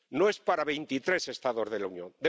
No es para veintitrés Estados de la Unión.